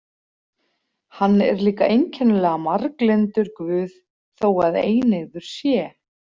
Hann er líka einkennilega marglyndur guð þó að eineygður sé.